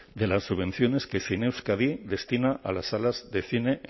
de las subvenciones que zineuskadi destina a las salas de cine